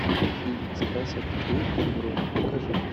фильм сказ о петре и февронии покажи